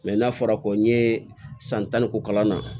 n'a fɔra ko n ye san tan ni